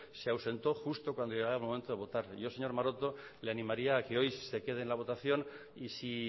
se ausentó justo cuando llegó el momento de votar yo señor maroto le animaría a que hoy si se queda en la votación y si